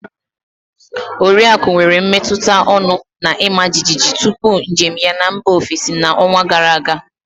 Oriaku nwere mmetụta ọñụ na ịma jijiji tupu njem ya na mba ofesi na ọnwa gara aga